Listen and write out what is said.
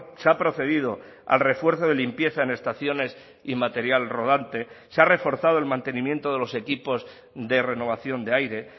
se ha procedido al refuerzo de limpieza en estaciones y material rodante se ha reforzado el mantenimiento de los equipos de renovación de aire